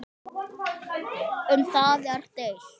Um það er deilt.